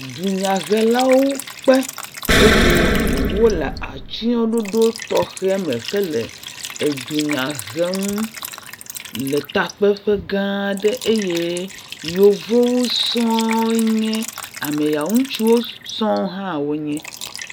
Dunyahelawo kpe eye wole atyɔ̃ɖoɖo tɔxɛ me hele dunya hem le takpeƒe gã aɖe eye yevuwo sɔ̃ɔ enye ame yawo, ŋutsuwo sɔ̃ɔ hã wonye.